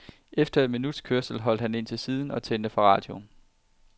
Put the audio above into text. Efter et minuts kørsel holdt han ind til siden og tændte for radioen.